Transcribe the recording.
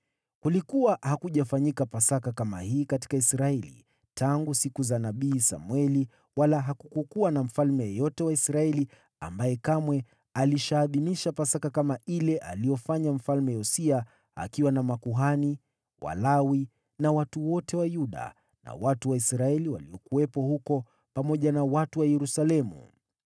Kulikuwa hakujafanyika Pasaka kama hii katika Israeli tangu siku za nabii Samweli wala hakukuwa na mfalme yeyote wa Israeli ambaye kamwe alishaadhimisha Pasaka kama ile aliyofanya Mfalme Yosia, akiwa na makuhani, Walawi na watu wote wa Yuda na watu wa Israeli waliokuwepo huko, pamoja na watu wa Yerusalemu.